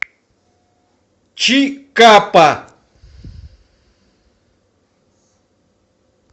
чикапа